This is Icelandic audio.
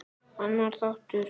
Annar þáttur